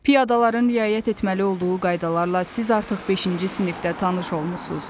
Piyadaların riayət etməli olduğu qaydalarla siz artıq beşinci sinifdə tanış olmusuz.